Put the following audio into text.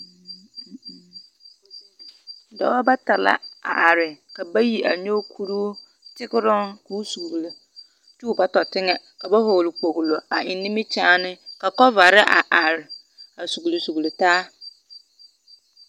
Dͻbͻ bata la a are, ka bayi a nyͻge kuruu tegeroŋ ka o zuli kyԑ o ba tͻ teŋԑ. Ka ba vͻgele kpogilo a eŋ nimikyaane ka gͻvare a are a sugili sugili taa.